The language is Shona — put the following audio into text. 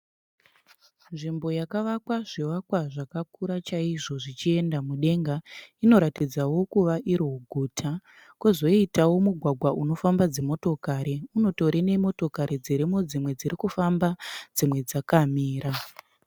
Nzvimbo yakavakwa zvivakwa zvakakura chaizvo zvichienda mudenga. Inoratidzawo kuva iri guta. Kwozoitawo mugwagwa unofamba dzimotokari unotorine motikari dzirimo dzimwe dziri kufamba dzimwe dzakamira.